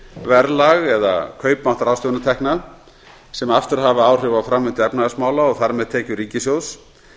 verðlag eða kaupmátt ráðstöfunartekna sem aftur hafa áhrif á framvindu efnahagsmála og þar með tekjur ríkissjóðs